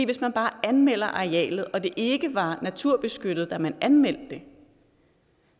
hvis man bare anmelder arealet og det ikke var naturbeskyttet da man anmeldte det